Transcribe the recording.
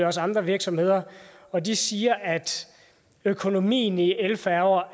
også andre virksomheder og de siger at økonomien i elfærger